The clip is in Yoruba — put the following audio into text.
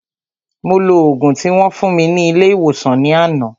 Mo lo ògùn tí wón fún mi ní ilé ìwòsàn ní àná